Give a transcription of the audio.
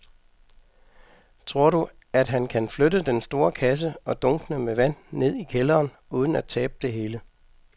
Tror du, at han kan flytte den store kasse og dunkene med vand ned i kælderen uden at tabe det hele?